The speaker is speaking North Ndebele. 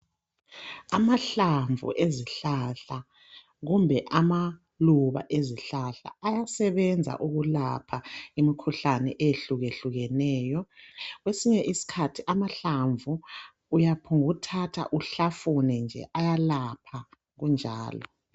Amahlamvu ezihlahla kumbe amaluba ezihlahla ayasebenza ukulapha imkhuhlane eyehlukehlukeneyo. Kwesinye isikhathi amahlamvu uyaphonguthatha uhlafune nje ayalapha kunjalo